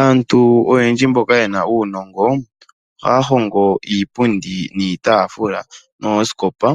Aantu oyendji mboka yena uunongo oha ya hongo iipundi niitafula oshwowo ooskopa